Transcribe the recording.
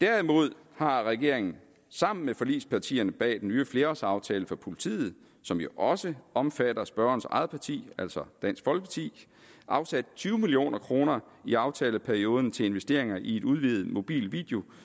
derimod har regeringen sammen med forligspartierne bag den nye flerårsaftale for politiet som jo også omfatter spørgerens eget parti altså dansk folkeparti afsat tyve million kroner i aftaleperioden til investeringer i et udvidet mobilt